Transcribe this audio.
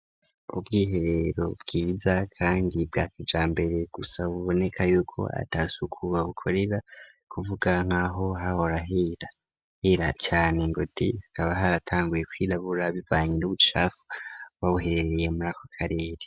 Ubwihebero bwiza kandi bwa kijambere gusa buboneka yuko ata suku babukorera kuvuga nk'aho hahora hera cane ngo de hakaba haratanguye kwirabura bibanye n'ubucafu buba buherereye muri ako karere.